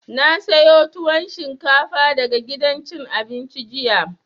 Na sayo tuwon shinkafa daga gidan cin abinci jiya